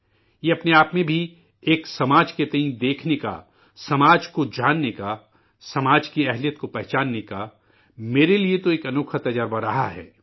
یہ اپنے آپ میں بھی ایک سماج کے تئیں دیکھنے کا، سماج کو جاننے کا، سماج کی صلاحیت کو پہچاننے کا، میرے لیے تو ایک انوکھا تجربہ رہا ہے